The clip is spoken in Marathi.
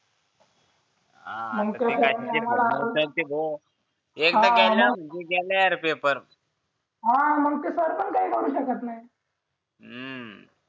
हा मग काय भोगायचे ते भोग हा एकदा गेला गेला पेपर हा मग काय सरपंन काय करू शकत नाही